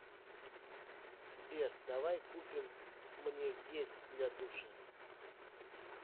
сбер давай купим мне гель для душа